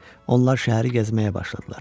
Onlar şəhəri gəzməyə başladılar.